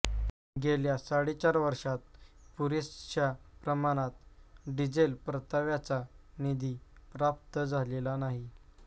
गेल्या साडेचार वर्षांत पुरेशा प्रमाणात डिझेल परताव्याचा निधी प्राप्त झालेला नाही